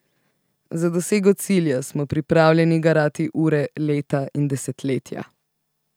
Za dosego cilja smo pripravljeni garati ure, leta in desetletja.